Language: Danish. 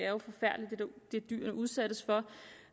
dyrene udsættes for